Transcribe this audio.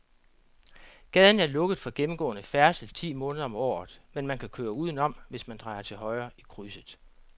Gaden er lukket for gennemgående færdsel ti måneder om året, men man kan køre udenom, hvis man drejer til højre i krydset.